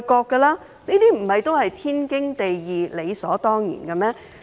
這些不都是天經地義，理所當然的嗎？